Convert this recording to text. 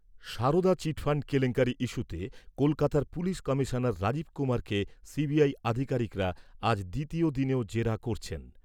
Sarada chit fund কেলেঙ্কারি ইস্যুতে কলকাতার পুলিশ কমিশনার রাজীব কুমারকে সিবিআই আধিকারিকরা আজ দ্বিতীয় দিনেও জেরা করছেন।